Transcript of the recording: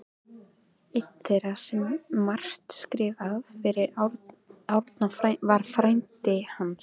Einn þeirra sem margt skrifaði fyrir Árna var frændi hans